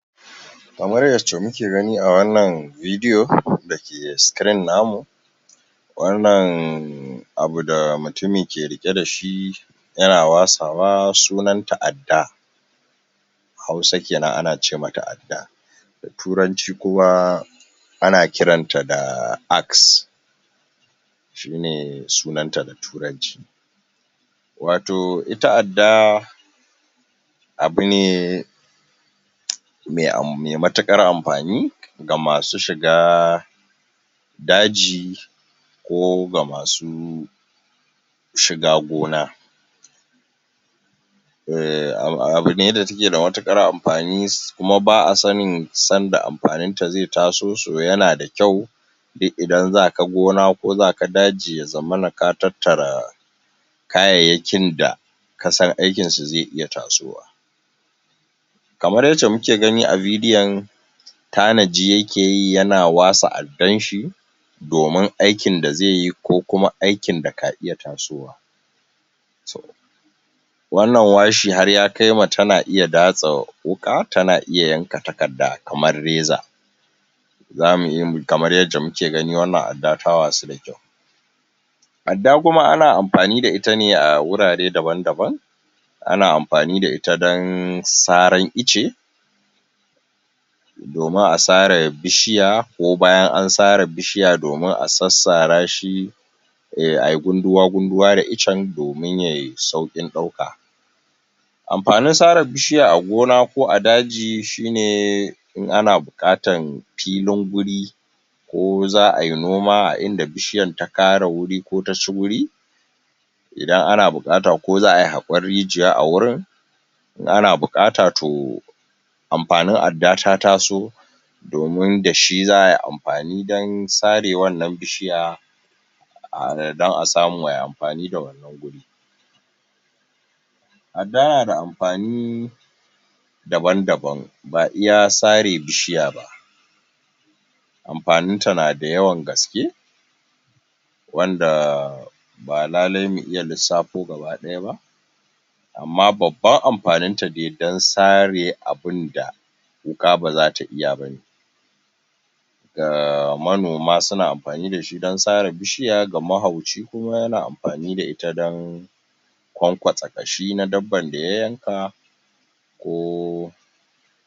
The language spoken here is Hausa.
kamar yacce muke gani a wannan bidio dake sikirin namu wannan abu da mutumi ke riƙe dashi yana wasawa sunanta adda hausa kenan ana cemata adda turanci kuma ana kiranta da axe shine sunanta da turanci wato ita adda abu ne me um, me matuƙar amfani gamasu shiga daji ko ga masu shiga gona eh abune da take da matuƙar am fani kuma ba'asanin sanda amfaninta ze taso so yanada kyau duk idan zaka gona ko zaka daji yazamana ka tattara kayayyakin da kasan aikinsu ze iya tasowa kamar yace muke gani a bidio tanaji yakeyi yana wasa addanshi domin aikin da zeyi kokuma aikin da ka iya tasowa to wannan washi har yakaima tana iya datsa wuka tana iya yanka takadda kamar reza zamu iya, kamar yadda muke gani wanna adda ta wasu da kyau adda kuma ana amfani da itane a gurare daban daban ana amfani da ita dan saran ice domin a sare bishiya ko bayan ansare bishiya domin asassarashi eh, ayi gunduwa gunduwa da icce domin yay saukin ɗauka amfanin sare bishiya a gona ko a daji shine in ana buƙatan filin guri ko za ainoma a idan bishiyan ta kare guri ko taci guri idan ana buƙata ko za ai haƙon rijiya agurin in ana buƙata to amfanin adda ta taso domin dashi za ai amfani dan sare wannan bishiya a dan asamu ai amfani da wannan guri adda nada amfani daban daban ba iya sare bishiyaba amfaninta nada yawan gaske wanda ba lalai mu iya lisafo gaba ɗaya ba amma babban amfaninta da yadda sare abunda wuƙa baza iya bane ga manoma suna amfani dashi dan sare bishiya ga mahauci kuma yana amfani da ita don kwankwasa ƙashi na dabban da ya yanka ko.